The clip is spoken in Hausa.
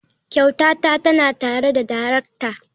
Kyautata tana tare da darakta.